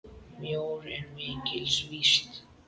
Mjór er mikils vísir.